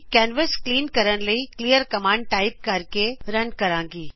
canvas clean ਕਰਨ ਲਈ clear command type ਕਰਕੇ ਰਨ ਕਰਾਗੀ